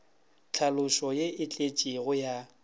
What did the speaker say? tlhaloso ye e tletšego ya